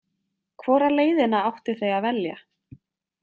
Hvora leiðina áttu þau að velja?